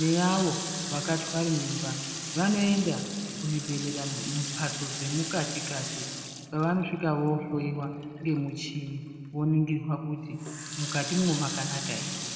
neavo vakatwara mimba vanoenda kuzvibhedhera mumhbatso dzemukati-kati kwavanosvika vohloiwa ngemuchini voningirwa kuti mukatimwo makanaka ere.